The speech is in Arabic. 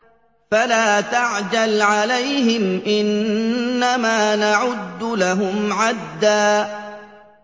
فَلَا تَعْجَلْ عَلَيْهِمْ ۖ إِنَّمَا نَعُدُّ لَهُمْ عَدًّا